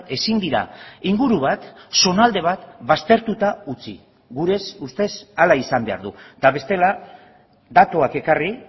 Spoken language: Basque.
ezin dira inguru bat zonalde bat baztertuta utzi gure ustez hala izan behar du eta bestela datuak ekarri